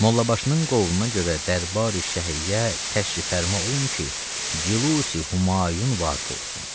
Mollabaşının qovluna görə dərbari şəhiyə təşrif fərma olun ki, cülusi Humayun vaqe olsun.